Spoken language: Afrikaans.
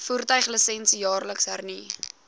voertuiglisensie jaarliks hernu